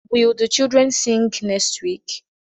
Will the children sing next week?